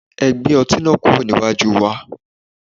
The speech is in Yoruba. Ẹ gbe ọti yii kuro niwaju wa